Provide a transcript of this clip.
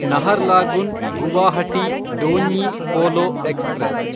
Naharlagun Guwahati Donyi Polo express